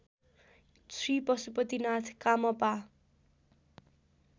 Shri Pashupatinath कामपा